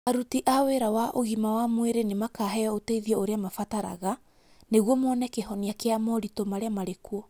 Aruti a wĩra wa ũgima wa mwĩrĩ nĩ makaheo ũteithio ũrĩa marabatara nĩguo mone kĩhoniakia moritũ marĩa marĩ kuo.